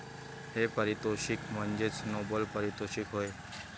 हे पारितोषिक म्हणजेच नोबल पारितोषिक होय.